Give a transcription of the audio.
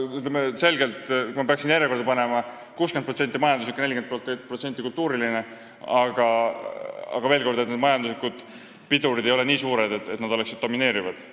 Kui ma peaksin neid järjekorda panema, siis 60% on majanduslikud ja 40% kultuurilised põhjused, aga veel kord: majanduslikud pidurid ei ole nii suured, et nad domineeriksid.